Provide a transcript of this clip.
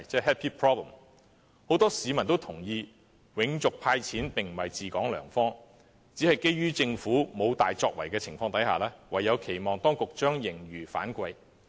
很多市民也認同，"永續派錢"並非治港良方，只是基於政府沒有大作為的情況下，唯有期望當局把盈餘反饋。